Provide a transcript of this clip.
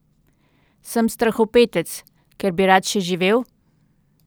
Sem strahopetec, ker bi rad še živel?